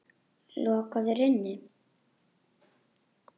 Lokaðir inni?